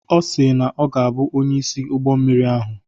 Ọ si na ọ ga-abụ onye isi ụgbọ mmiri ahụ.